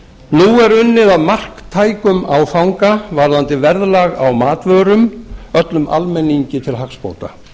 nú er unnið að marktækum áfanga varðandi verðlag á matvörum öllum almenningi til hagsbóta